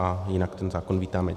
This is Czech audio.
A jinak ten zákon vítáme.